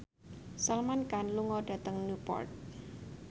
Salman Khan lunga dhateng Newport